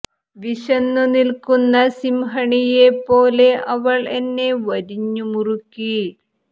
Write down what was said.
വിശന്നു നിൽക്കുന്ന സിംഹണിയെ പോലെ അവൾ എന്നെ വരിഞ്ഞു മുറുക്കി